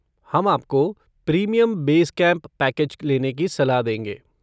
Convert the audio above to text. हम आपको premium base camp package लेने की सलाह देंगे।